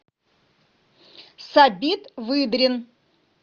сабит выдрин